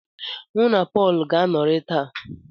Mụ na Pọl ga-anọrị taa.